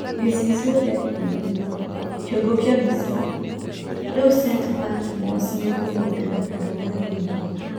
(Gĩcicio kĩa kiumia) kĩongo kĩa mbica, rĩu St.Patmos nĩkũmwongera kandarathi Mugo?